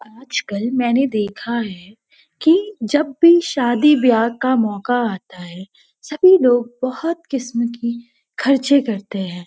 आजकल मेना देखा है कि जब भी शादी ब्या का मौका आता है सभी लोग बहुत किस्‍म की खर्चे करते हैं।